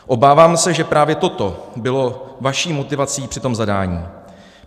Obávám se, že právě toto bylo vaší motivací při tom zadání.